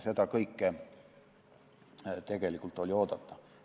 Seda kõike oli oodata.